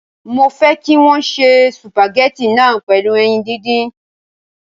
Mo fẹ́ kí wọn ó se sùpàgẹ́tì náà pẹ̀lú ẹyin díndín